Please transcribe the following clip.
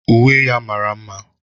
Uwe ya mara mma